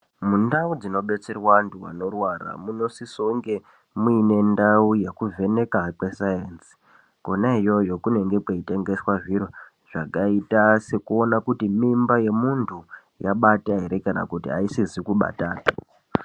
Mundau dzinobetserwa antu anorwara munosise kunge muine ndau yekuvhenekwa kwesaenzi kona iyoyo kunenge kweitengeswa zviro zvakaita sekuona kuti mimba yemuntu yabata ere kana kuti haisizi kubatapi.